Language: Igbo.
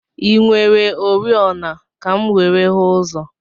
I nwere oriọna ka m were hụ ụzọ?